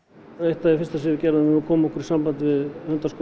eitt af því fyrsta sem við gerðum var að koma okkur í samband við hundaskóla